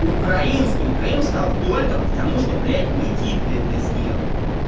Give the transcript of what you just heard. украинским крым стал только потому что блять никитка это сделал